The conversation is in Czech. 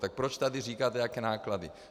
Tak proč tady říkáte, jaké náklady?